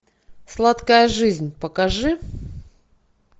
сладкая жизнь покажи